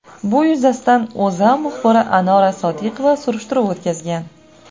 Bu yuzasidan O‘zA muxbiri Anora Sodiqova surishtiruv o‘tkazgan .